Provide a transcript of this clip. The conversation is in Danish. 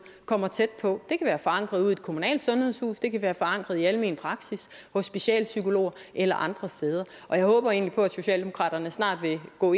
kommer tæt på det kan være forankret ude i et kommunalt sundhedshus det kan være forankret i almen praksis hos specialpsykologer eller andre steder jeg håber egentlig på at socialdemokratiet snart vil gå